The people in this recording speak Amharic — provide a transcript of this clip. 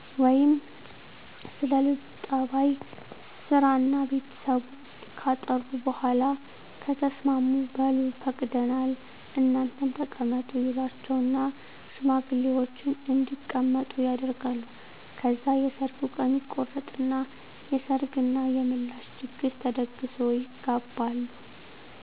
ወይም ስለ ለጁ ጸባይ፣ ስራና ቤተሰቡ ካጣሩ በኋላ ከተስማሙ በሉ ፈቅደናል እናንተም ተቀመጡ ይሏቸውና ሽማግሌወችን እንዲቀመጡ ያደርጋሉ። ከዛ የሰርጉ ቀን ይቆረጥና የሰርግ እና የምላሽ ድግስ ተደግሶ ይጋባሉ።